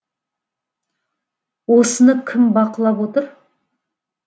осыны кім бақылап отыр